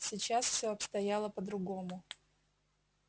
сейчас все обстояло по-другому